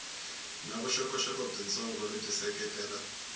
na vuxokoxoko byitsongo lebyi seketela